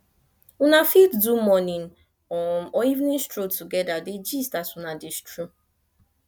una fit do morning um or evening stroll together dey gist as una dey stroll